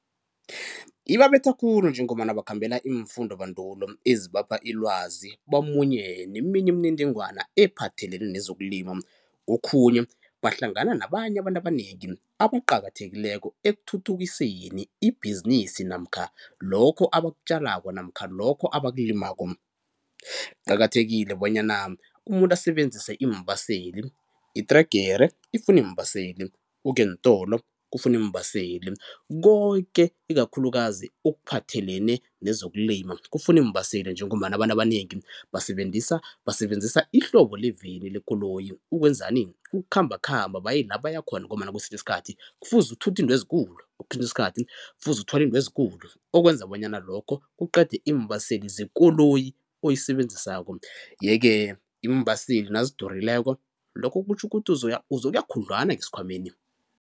Ibabetha khulu njengombana bakhambela iimfundobandulo ezibapha ilwazi bamunye neminye imininingwana ephathelene nezokulima, kokhunye bahlangana nabanye abantu abanengi abaqakathekileko ekuthuthukiseni ibhizinisi namkha lokho abakutjalako namkha lokho abakulimako. Kuqakathekile bonyana umuntu asebenzise iimbaseli, itregere ifuna iimbaseli, ukuya eentolo kufuna iimbaseli koke ikakhulukazi okuphathelene nezokulima kufuna iimbaseli njengombana abantu abanengi basebenzisa ihlobo leveni lekoloyi. Ukwenzani? Ukukhambakhamba baye la baya khona ngombana kwesinye isikhathi kufuze uthuthe izinto ezikulu, kwesinye isikhathi kufuze uthwale izinto ezikulu okwenza bonyana lokho kuqede iimbaseli zekoloyi oyisebenzisako, yeke iimbaseli nazidurileko lokho kutjho ukuthi uzokuya khudlwana ngesikhwameni.